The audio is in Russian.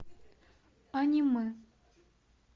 аниме